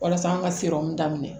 Walasa an ka serɔmu daminɛ